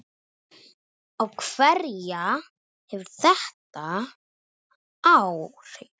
Á hverja hefur þetta áhrif?